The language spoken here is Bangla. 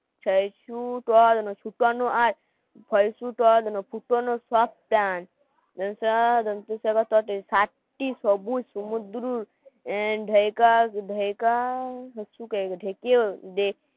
ছুট